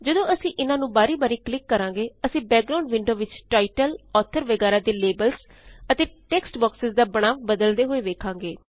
ਜਦੋਂ ਅਸੀ ਇਨਾਂ ਨੂੰ ਬਾਰੀ ਬਾਰੀ ਕਲਿਕ ਕਰਾਂਗੇ ਅਸੀਂ ਬੈਕਗ੍ਰਾਉਨਡ ਵਿੰਡੋ ਵਿਚ ਟਾਇਟਲ ਔਥਰ ਵਗੈਰਾ ਦੇ ਲੇਬਲਸ ਅਤੇ ਟੇਕਸਟ ਬੌਕਸੇਜ਼ ਦਾ ਬਣਾਵ ਬਦਲਦੇ ਹੋਏ ਵੇਖਾਂਗੇ